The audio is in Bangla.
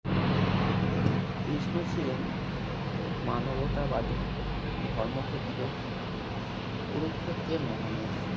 কৃষ্ণ ছিলেন মানবতাবাদী ধর্মক্ষেত্রে কুরুক্ষেত্রের মহানায়ক